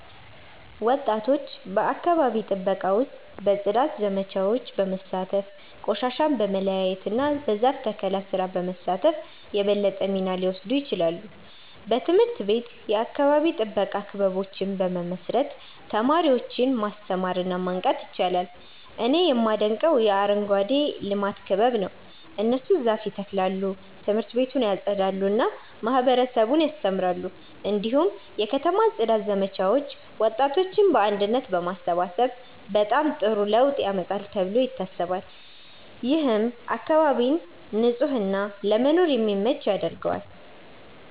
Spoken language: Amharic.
ወጣቶች በአካባቢ ጥበቃ ውስጥ በጽዳት ዘመቻዎች በመሳተፍ፣ ቆሻሻን በመለያየት እና በዛፍ ተከላ ስራ በመሳተፍ የበለጠ ሚና ሊወስዱ ይችላሉ። በትምህርት ቤት የአካባቢ ጥበቃ ክበቦችን በመመስረት ተማሪዎችን ማስተማር እና ማንቃት ይቻላል። እኔ የማደንቀው የአረንጓዴ ልማት ክበብ ነው። እነሱ ዛፍ ይተክላሉ፣ ት/ቤቱን ያጸዳሉ እና ማህበረሰቡን ያስተምራሉ። እንዲሁም የከተማ ጽዳት ዘመቻዎች ወጣቶችን በአንድነት በማሰባሰብ በጣም ጥሩ ለውጥ ያመጣሉ ተብሎ ይታሰባል። ይህም አካባቢን ንጹህ እና ለመኖር የሚመች ያደርገዋል።